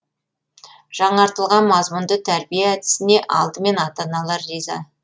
жаңартылған мазмұнды тәрбие әдісіне алдымен ата аналар риза